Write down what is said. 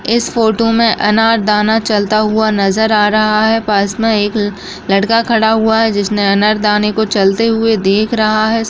इस फोटो में अनारदाना चलता हुआ नजर आ रहा है पास में एक लड़का खड़ा हुआ है जिसने अनारदाने को चलते हुए देख रहा है।